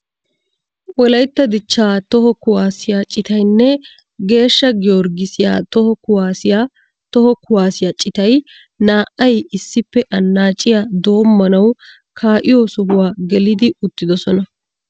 Wollaytta dichcha toho kuwaasiyaa ciitaynne geeshsha giyoorgisiyaa toho kuwaasiyaa toho kuwaasiyaa ciitay naa"ay issippe annaciyaa dommanawu ka"iyoo sohuwaa geli uttidosona.